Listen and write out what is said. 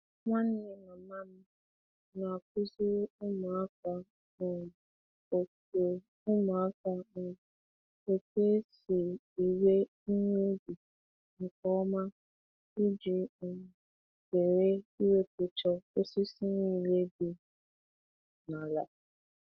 Nwanne mama m na-akụziri ụmụaka um otu ụmụaka um otu esi ewe ihe ubi nke ọma iji um zere iwepucha osisi niile di n'ala.